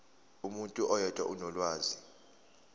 umuntu oyedwa onolwazi